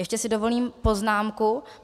Ještě si dovolím poznámku.